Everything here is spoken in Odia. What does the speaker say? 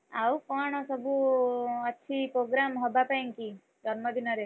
ଆଉ କଣ ସବୁ ଅଛି programme ହବାପାଇଁକି? ଜନ୍ମଦିନରେ,